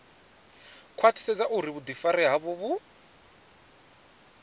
khwaṱhisedza uri vhuḓifari havho vhu